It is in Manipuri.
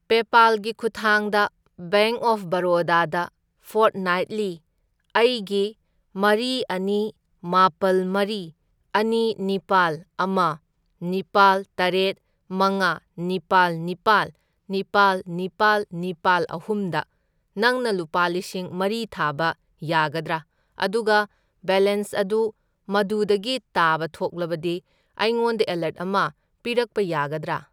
ꯄꯦꯄꯥꯜꯒꯤ ꯈꯨꯠꯊꯥꯡꯗ ꯕꯦꯡꯛ ꯑꯣꯐ ꯕꯔꯣꯗꯥ ꯗ ꯐꯣꯔꯠꯅꯥꯢꯠꯂꯤ ꯑꯩꯒꯤ ꯃꯔꯤ, ꯑꯅꯤ, ꯃꯥꯄꯜ, ꯃꯔꯤ, ꯑꯅꯤ, ꯅꯤꯄꯥꯜ, ꯑꯃ, ꯅꯤꯄꯥꯜ, ꯇꯔꯦꯠ, ꯃꯉꯥ, ꯅꯤꯄꯥꯜ, ꯅꯤꯄꯥꯜ, ꯅꯤꯄꯥꯜ, ꯅꯤꯄꯥꯜ, ꯅꯤꯄꯥꯜ, ꯑꯍꯨꯝ ꯗ ꯅꯪꯅ ꯂꯨꯄꯥ ꯂꯤꯁꯤꯡ ꯃꯔꯤ ꯊꯥꯕ ꯌꯥꯒꯗ꯭ꯔꯥ? ꯑꯗꯨꯒ ꯕꯦꯂꯦꯟꯁ ꯑꯗꯨ ꯃꯗꯨꯗꯒꯤ ꯇꯥꯕ ꯊꯣꯛꯂꯕꯗꯤ ꯑꯩꯉꯣꯟꯗ ꯑꯦꯂꯔꯠ ꯑꯃ ꯄꯤꯔꯛꯄ ꯌꯥꯒꯗ꯭ꯔꯥ?